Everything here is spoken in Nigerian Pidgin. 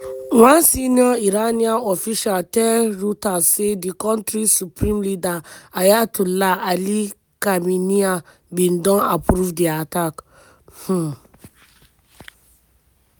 one senior iranian official tell reuters say di kontri supreme leader ayatollah ali khamenei bin don approve di attack. um